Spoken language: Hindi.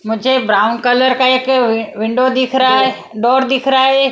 मुझे ब्राउन कलर का एक अ विंडो दिख रहा है डोर दिख रहा है।